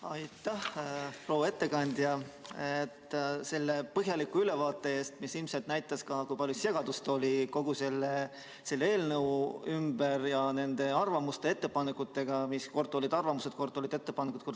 Aitäh, proua ettekandja, selle põhjaliku ülevaate eest, mis ilmselt näitas ka, kui palju segadust oli kogu selle eelnõu ümber nende arvamuste ja ettepanekutega, mis kord olid arvamused, kord olid ettepanekud.